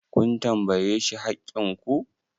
kun tambaye shi haƙƙin ku!